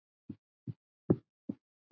Mikill er missir hans.